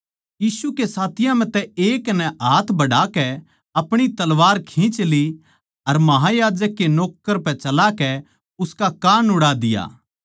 यीशु के साथियाँ म्ह तै एक नै हाथ बढ़ाकै अपणी तलवार खिंच ली अर महायाजक के नौक्कर पै चलाकै उसका कान उड़ा दिया